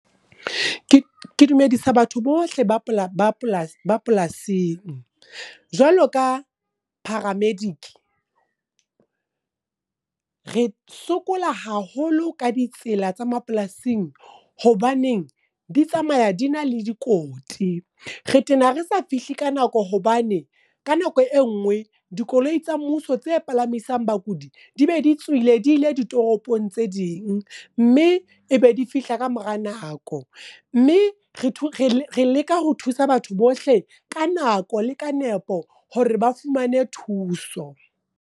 ke dumedisa batho bohle ba polasing. Jwalo ka paramedic re sokola haholo ka ditsela tsa mapolasing. Hobaneng di tsamaya di na le dikoti. Re tena re sa fihle ka nako hobane, ka nako e nngwe dikoloi tsa mmuso tse palamisang bakudi, di be di tswile di ile di toropong tse ding. Mme ebe di fihla ka mora nako. Mme re leka ho thusa batho bohle, ka nako le ka nepo hore ba fumane thuso.